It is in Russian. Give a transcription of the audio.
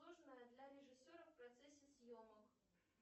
для режиссера в процессе съемок